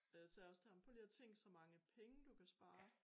Og jeg sagde også til ham prøv at tænk så mange penge du kan spare